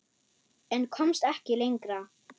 En komst ekki lengra.